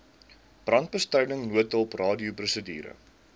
brandbestryding noodhulp radioprosedure